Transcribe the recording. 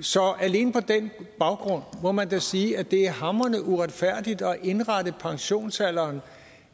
så alene på den baggrund må man da sige at det er hamrende uretfærdigt at indrette pensionsalderen